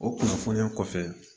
O kunnafoniya kɔfɛ